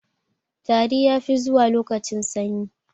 Tari ya fi zuwa lokacin sanyi